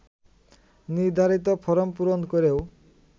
নির্ধারিত ফরম পূরণ করেও